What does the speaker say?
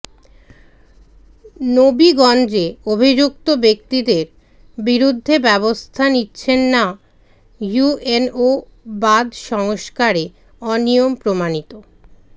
নবীগঞ্জে অভিযুক্ত ব্যক্তিদের বিরুদ্ধে ব্যবস্থা নিচ্ছেন না ইউএনও বাঁধ সংস্কারে অনিয়ম প্রমাণিত